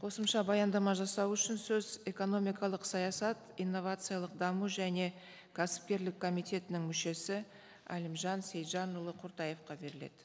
қосымша баяндама жасау үшін сөз экономикалық саясат инновациялық даму және кәсіпкерлік комитетінің мүшесі әлімжан сейітжанұлы құртаевқа беріледі